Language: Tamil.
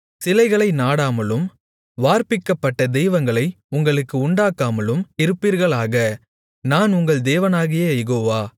சிலைகளை நாடாமலும் வார்ப்பிக்கப்பட்ட தெய்வங்களை உங்களுக்கு உண்டாக்காமலும் இருப்பீர்களாக நான் உங்கள் தேவனாகிய யெகோவா